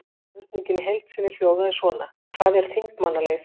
Spurningin í heild sinni hljóðaði svona: Hvað er þingmannaleið?